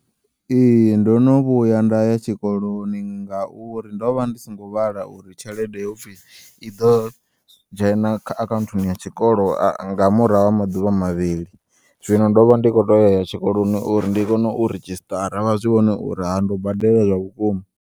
Ee, ndo no vhuya nday a tshikoloni ngauri ndo vha ndi songo vhala uri tshelede hopfi iḓo dzhena kha akhaunthuni ya tshikolo a nga murahu ha maḓuvha mavhili, zwino ndo vha ndi khotea uya tshikoloni uri ndi kone u registara vha zwi vhone uri ha ndo badela zwa vhukuma.